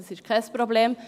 Das ist kein Problem.